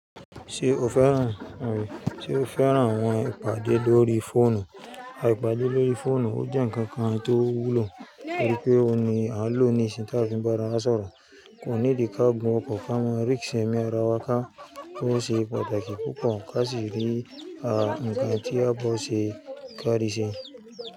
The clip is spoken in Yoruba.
Ṣe o fẹ́ràn, rí, ṣe o fẹ́ràn àwọn ìpàdé lórí fóònù? Àìpàdé lórí fóònù jẹ́ ǹkan kan tó wúlò torí pé ó ní à ń lò ní ìsìn táa fi bá ara sọ̀rọ̀. Kò ní dì ká gun ọkọ̀ fún á mọ ẹ́ rí ìsẹmi ara wa ká. Ó ṣe pàtàkì púpọ̀ kàsí rí à ǹkan tí a bá ṣe ká di ṣe.